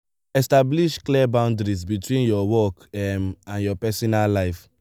establish clear boundaries between your work um and your personal life